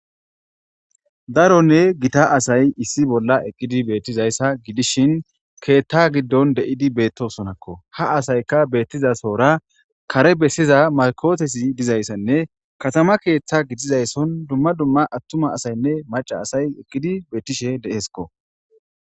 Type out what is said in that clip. daronne gita asay issi bolla eqqidi beettizayssa gidishin keethta giddon de7idi beettosonakko ha asayka beettizasora kare bessiza makotesi dizayssanne katama keeththa gidizaysson dumma dumma attuma asaynne maca asay eqqidi beettishe de7eeskko